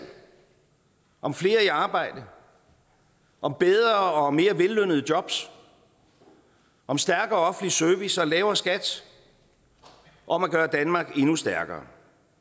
om flere i arbejde om bedre og mere vellønnede jobs om stærkere offentlig service om lavere skat og om at gøre danmark endnu stærkere